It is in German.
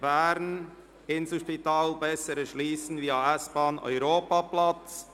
«Inselspital besser erschliessen via S-Bahnhof Europaplatz».